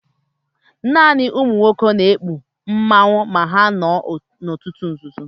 Naani ụmụnwọke na-ekpụ mmanwụ, ma ha nọ n'ọtụ nzụzọ.